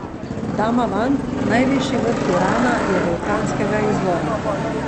Damavand, najvišji vrh Irana, je vulkanskega izvora.